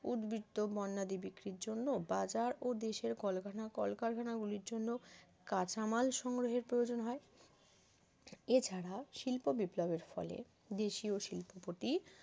উদ্বৃত্ত পন্যাদি বিক্রির জন্য বাজার ও দেশের কল কারখানা গুলির জন্য কাঁচামাল সংগ্রহের প্রয়োজন হয় এছাড়া শিল্প বিপ্লবের ফলে দেশীয় শিল্পপতি